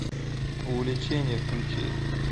увлечение включи